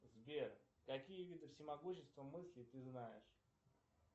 сбер какие виды всемогущества мысли ты знаешь